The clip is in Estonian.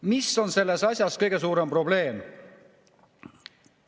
Mis on selles asjas kõige suurem probleem?